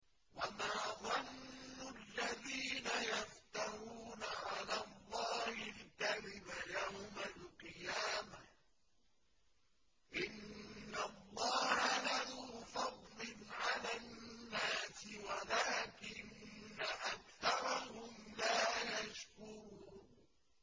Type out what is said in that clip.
وَمَا ظَنُّ الَّذِينَ يَفْتَرُونَ عَلَى اللَّهِ الْكَذِبَ يَوْمَ الْقِيَامَةِ ۗ إِنَّ اللَّهَ لَذُو فَضْلٍ عَلَى النَّاسِ وَلَٰكِنَّ أَكْثَرَهُمْ لَا يَشْكُرُونَ